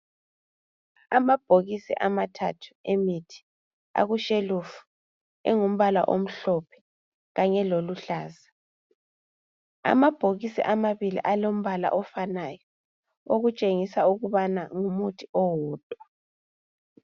Amabhokisi amathathu emithi akushelufu engumbala omhlophe kanye loluhlaza. Amabhokisi amabili alombala ofanaya, okutshengisa ukubana ngumuthi owodwa.